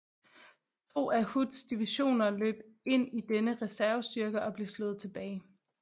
To af Hoods divisioner løb ind i denne reservestyrke og blev slået tilbage